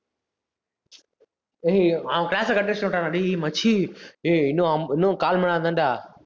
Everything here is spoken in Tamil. அய்யய்யோ அவன் class அ cut அடிச்சுட்டு வந்துட்டான்டா டேய் மச்சி ஏய் இன்னும் ஐம்~ இன்னும் கால் மணி நேரம்தான்டா.